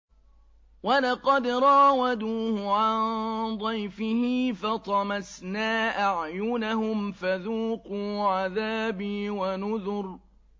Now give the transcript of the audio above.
وَلَقَدْ رَاوَدُوهُ عَن ضَيْفِهِ فَطَمَسْنَا أَعْيُنَهُمْ فَذُوقُوا عَذَابِي وَنُذُرِ